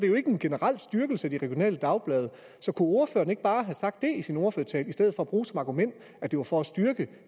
er en generel styrkelse af de regionale dagblade så kunne ordføreren ikke bare have sagt det i sin ordførertale i stedet for at bruge som argument at det var for at styrke